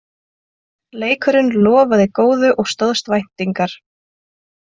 Leikurinn lofaði góðu og stóðst væntingar